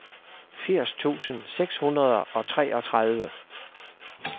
firs tusind seks hundrede og treogtredive